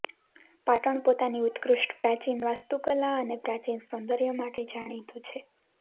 પાટણ પોતાની ઉત્કૃષ્ટ પ્રાચીન વાસ્તુકલા અને પ્રાચીન સૌંદર્ય માટે જાણીતું છે